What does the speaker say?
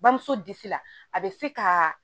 Bamuso disi la a bɛ se ka